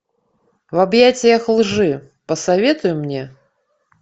в объятиях лжи посоветуй мне